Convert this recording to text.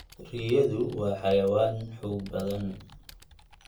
Riyadu waa xayawaan xoog badan.